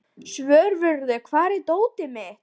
Svörfuður, hvar er dótið mitt?